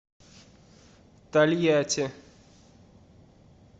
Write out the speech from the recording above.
тольятти